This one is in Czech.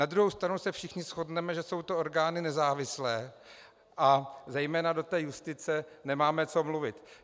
Na druhou stranu se všichni shodneme, že jsou to orgány nezávislé a zejména do té justice nemáme co mluvit.